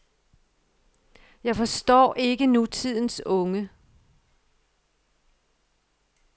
Jeg forstår ikke nutidens unge.